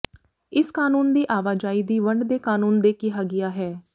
ਇਸ ਕਾਨੂੰਨ ਦੀ ਆਵਾਜਾਈ ਦੀ ਵੰਡ ਦੇ ਕਾਨੂੰਨ ਦੇ ਕਿਹਾ ਗਿਆ ਹੈ